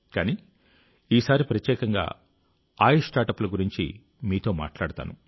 కానీ ఈసారి ప్రత్యేకంగా ఆయుష్ స్టార్ట్అప్ల గురించి మీతో మాట్లాడతాను